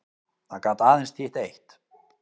Það gat aðeins þýtt eitt.